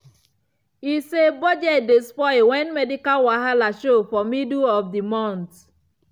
e say budget dey spoil when medical wahala show for middle of the month.